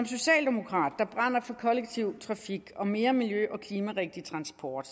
socialdemokrat der brænder for den kollektive trafik og mere miljø og klimarigtig transport